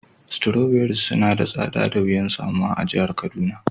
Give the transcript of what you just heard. Strawberries suna da tsada da wiyan samuwa a'jihar Kaduna.